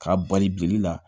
K'a bari bili la